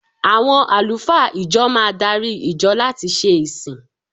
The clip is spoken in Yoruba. Àwọn àlùfáà ìjọ máa darí ìjọ láti ṣe ìsìn.